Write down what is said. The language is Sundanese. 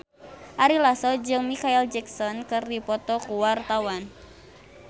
Ari Lasso jeung Micheal Jackson keur dipoto ku wartawan